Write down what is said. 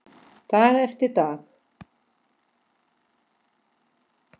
Dag eftir dag.